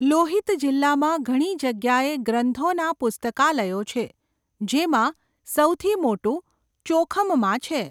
લોહિત જિલ્લામાં ઘણી જગ્યાએ ગ્રંથોના પુસ્તકાલયો છે, જેમાં સૌથી મોટું ચોખમમાં છે.